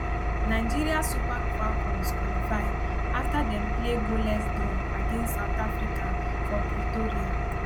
nigeria super falcons qualify afta dem play goalless draw against south africa for pretoria